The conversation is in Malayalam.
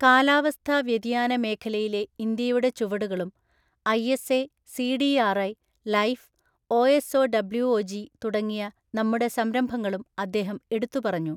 കാലാവസ്ഥാ വ്യതിയാന മേഖലയിലെ ഇന്ത്യയുടെ ചുവടുകളും ഐഎസ്എ, സിഡിആർഐ , ലൈഫ്, ഒഎസ്ഒഡബ്ല്യുഒജി തുടങ്ങിയ നമ്മുടെ സംരംഭങ്ങളും അദ്ദേഹം എടുത്തുപറഞ്ഞു.